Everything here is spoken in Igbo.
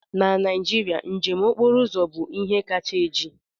Na Naijiria, njem okporo ụzọ bụ ihe kacha eji.